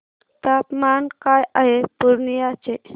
तापमान काय आहे पूर्णिया चे